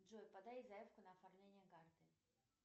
джой подай заявку на оформление карты